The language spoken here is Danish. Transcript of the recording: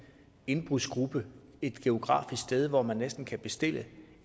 indbrudsgruppe et geografisk sted hvor man kan bestille